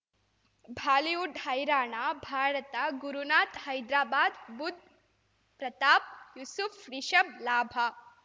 Bollywood ಹೈರಾಣ ಭಾರತ ಗುರುನಾಥ ಹೈದ್ರಾಬಾದ್ ಬುಧ್ ಪ್ರತಾಪ್ ಯೂಸುಫ್ ರಿಷಬ್ ಲಾಭ